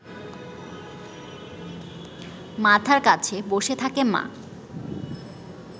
মাথার কাছে বসে থাকে মা